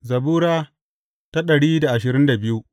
Zabura Sura dari da ashirin da biyu